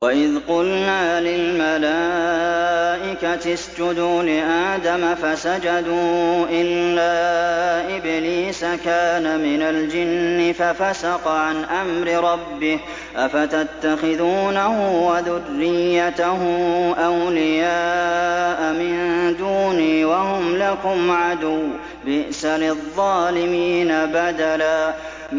وَإِذْ قُلْنَا لِلْمَلَائِكَةِ اسْجُدُوا لِآدَمَ فَسَجَدُوا إِلَّا إِبْلِيسَ كَانَ مِنَ الْجِنِّ فَفَسَقَ عَنْ أَمْرِ رَبِّهِ ۗ أَفَتَتَّخِذُونَهُ وَذُرِّيَّتَهُ أَوْلِيَاءَ مِن دُونِي وَهُمْ لَكُمْ عَدُوٌّ ۚ بِئْسَ لِلظَّالِمِينَ بَدَلًا